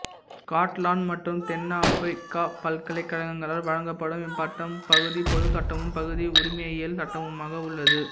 Scotland மற்றும் தென்னாப்பிக்கா பல்கலைக்கழகங்களால் வழங்கப்படும் இப்பட்டம் பகுதி பொதுச் சட்டமும் பகுதி உரிமையியல் சட்டமுமாக உள்ளது